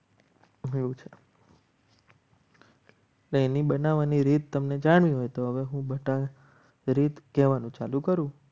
તેની બનાવવાની રીત તમને જાણવી હોય તો હવે હું કહેવાનું ચાલુ કરું.